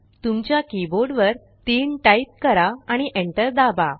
तुमच्या कीबोर्ड वर 3टाइप करा आणि एंटर दाबा